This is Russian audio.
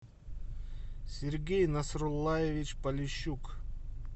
сергей насрулаевич полищук